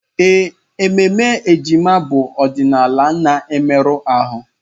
Ee, ememe ejima bụ ọdịnala na-emerụ ahụ.